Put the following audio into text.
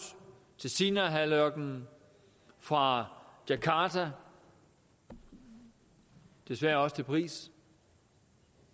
til sinaihalvøen fra djakarta og desværre også til paris